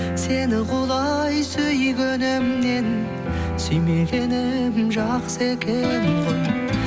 сені құлай сүйгенімнен сүймегенім жақсы екен ғой